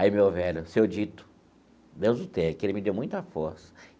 Aí, meu velho, seu Dito, Deus o tenha, que ele me deu muita força.